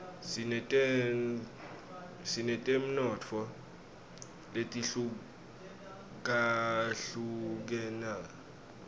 sinetemnotfo letihlukahlukenus